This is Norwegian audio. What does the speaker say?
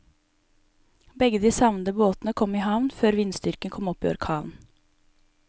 Begge de savnede båtene kom i havn før vindstyrken kom opp i orkan.